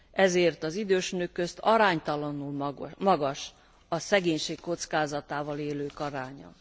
Ezért az idős nők közt aránytalanul magas a szegénység kockázatával élők aránya.